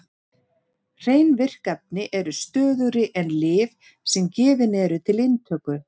Hrein virk efni eru stöðugri en lyf sem gefin eru til inntöku.